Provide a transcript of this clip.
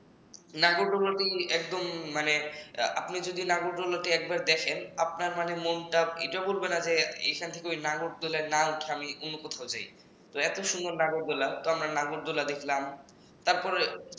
নাগরদোলাটি মানে একদম আপনি যদি নাগরদোলাটি একবার দেখেন আপনার মানে মনটা এটা বলবে না যে এখান থেকে ওই নাগরদোলায় না উঠে আমি অন্য কোথাও যাই এত সুন্দর নাগরদোলা তো আমরা নাগরদোলা দেখলাম তারপর